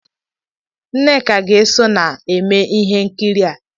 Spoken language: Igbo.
Nneka ga-eso na-eme ihe nkiri a.